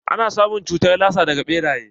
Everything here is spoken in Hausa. Ana samun cutar lasa daga ɓeraye.